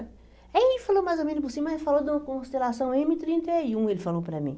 Aí ele falou mais ou menos por cima, mas falou de uma constelação m trinta e um, ele falou para mim.